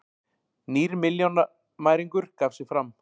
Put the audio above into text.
Nýr milljónamæringur gaf sig fram